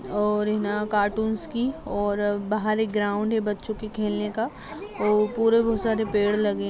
--और है ना कार्टूनस की और बहार एक ग्राउंड है बच्चों के खेलने का पेड़ लगे--